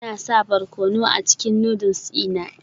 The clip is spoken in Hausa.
Ina sa barkono a cikin noodles dina